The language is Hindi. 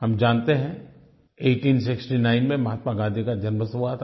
हम जानते हैं 1869 में महात्मा गाँधी का जन्म हुआ था